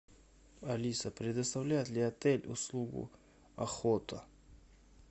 алиса предоставляет ли отель услугу охота